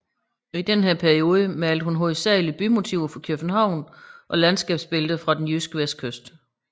I denne periode malede hun hovedsalig bymotiver fra København og landskabsbilleder fra den jyske vestkyst